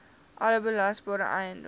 alle belasbare eiendom